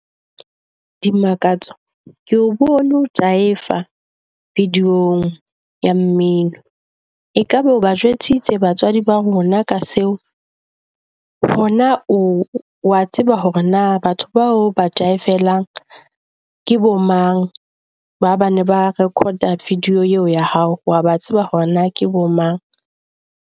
Dimakatso keo bone o jaiva video-ng ya mmino, ekaba o ba jwetsitse batswadi ba rona ka seo? Ho na o wa tseba hore na batho bao ba jaifela ke bo mang? Ba bana ba record-a video eo ya hao? Wa tseba hore na ke bo mang?